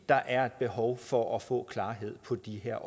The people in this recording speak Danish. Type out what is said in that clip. der er et behov for at få klarhed på de her